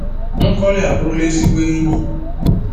Nkoli aburula ezigbo enyi.